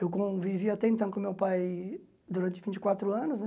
Eu convivi até então com meu pai durante vinte e quatro anos, né?